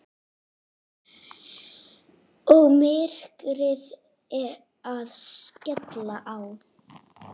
Og myrkrið að skella á.